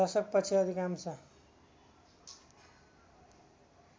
दशक पछि अधिकांश